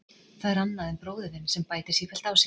Það er annað en bróðir þinn sem bætir sífellt á sig.